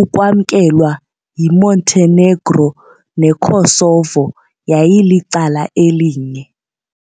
ukwamkelwa yiMontenegro neKosovo yayilicala elinye.